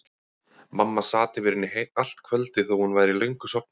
Mamma sat yfir henni allt kvöldið þó að hún væri löngu sofnuð.